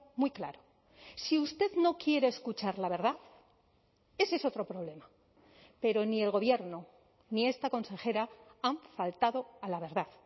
muy claro si usted no quiere escuchar la verdad ese es otro problema pero ni el gobierno ni esta consejera han faltado a la verdad